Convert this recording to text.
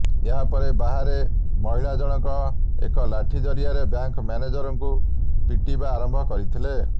ଏହା ପରେ ବାହାରେ ମହିଳା ଜଣକ ଏକ ଲାଠି ଜରିଆରେ ବ୍ୟାଙ୍କ ମ୍ୟାନେଜରଙ୍କୁ ପିଟିବା ଆରମ୍ଭ କରିଥିଲେ